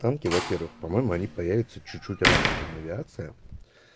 танки во-первых по-моему они появятся чуть-чуть раньше чем авиация